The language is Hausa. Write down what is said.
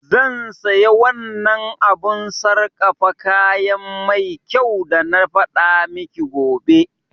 Zan saya wannan abun sargafa kayan mai kyau dana faɗa miki gobe